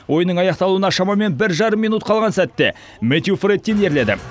ойынның аяқталуына шамамен бір жарым минут қалған сәтте мэтью фрэттин ерледі